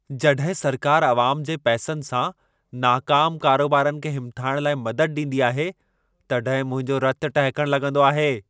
जॾहिं सरकारि आवाम जे पैसनि सां नाकामु कारोबारनि खे हिमथाइण लाइ मदद ॾींदी आहे, तॾहिं मुंहिंजो रतु टहिकण लॻंदो आहे।